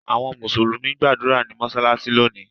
Awọn Musulumi n gbadura ni mọṣalaṣi loni